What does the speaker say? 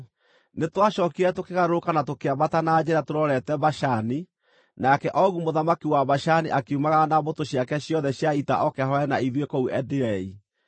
Nĩtwacookire tũkĩgarũrũka na tũkĩambata na njĩra tũrorete Bashani, nake Ogu mũthamaki wa Bashani akiumagara na mbũtũ ciake ciothe cia ita oke ahũũrane na ithuĩ kũu Edirei.